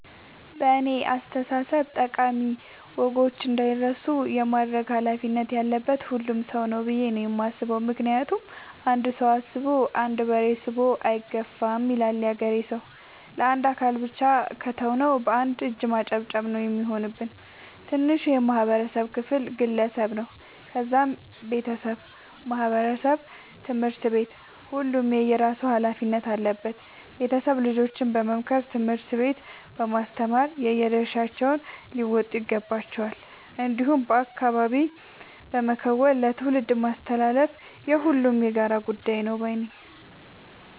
በእኔ አስተሳሰብ ጠቃሚ ወጎች እንዳይረሱ የማድረግ ኃላፊነት ያለበት ሁሉም ሰው ነው። ብዬ ነው የማስበው ምክንያቱም "አንድ ሰው አስቦ አንድ በሬ ስቦ አይገፋም " ይላል ያገሬ ሰው። ለአንድ አካል ብቻ ከተው ነው። በአንድ እጅ ማጨብጨብ ነው የሚሆንብን። ትንሹ የማህበረሰብ ክፍል ግለሰብ ነው ከዛም ቤተሰብ ማህበረሰብ ትምህርት ቤት ሁሉም የየራሱ ኃላፊነት አለበት ቤተሰብ ልጆችን በመምከር ትምህርት ቤት በማስተማር የየድርሻቸውን ሊወጡ ይገባቸዋል። እንዲሁም በአካባቢ በመከወን ለትውልድ ማስተላለፍ የሁሉም የጋራ ጉዳይ ነው ባይነኝ።